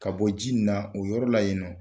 Ka bɔ ji ni na o yɔrɔ la yen nɔ.